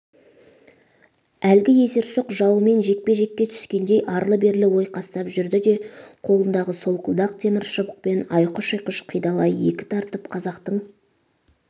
әлгі есерсоқ жауымен жекпе-жекке түскендей арлы-берлі ойқастап жүрді де қолындағы солқылдақ темір шыбықпен айқұш-ұйқыш қидалай екі тартып қазақтың